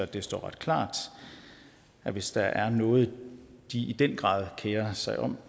det står ret klart at hvis der er noget de i den grad kerer sig om